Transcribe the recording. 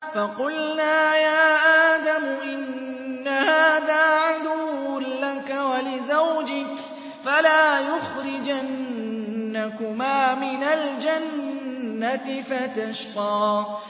فَقُلْنَا يَا آدَمُ إِنَّ هَٰذَا عَدُوٌّ لَّكَ وَلِزَوْجِكَ فَلَا يُخْرِجَنَّكُمَا مِنَ الْجَنَّةِ فَتَشْقَىٰ